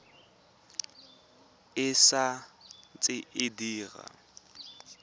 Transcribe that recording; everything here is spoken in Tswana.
e sa ntse e dira